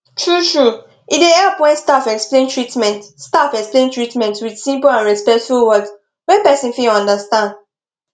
truetrue e dey help when staff explain treatment staff explain treatment with simple and respectful words wey person fit understand